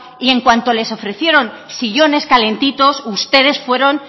y en cuanto les ofrecieron sillones calentitos ustedes fueron